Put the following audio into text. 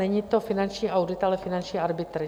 Není to finanční audit, ale finanční arbitr.